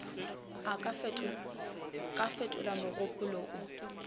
ka a fetola mogopolo o